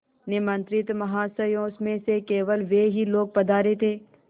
निमंत्रित महाशयों में से केवल वे ही लोग पधारे थे